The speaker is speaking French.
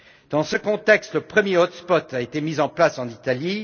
Dans ce contexte, le premier hot spot a été mis en place en Italie.